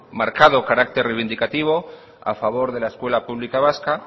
marcado carácter reivindicativo a favor de la escuela pública vasca